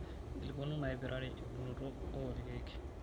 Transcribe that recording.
inkilikuanu naipirare euunoto oo ilkeek